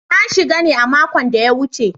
Na shiga ne a makon da ya wuce.